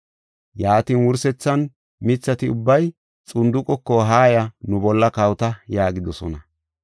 “Yaatin, wursethan mithati ubbay xunduqeko, ‘Haaya, nu bolla kawota’ yaagidosona.